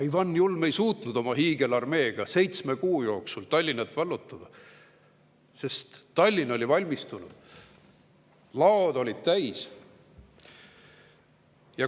Ivan Julm ei suutnud oma hiigelarmeega seitsme kuu jooksul Tallinna vallutada, sest Tallinn oli valmistunud, laod olid täis.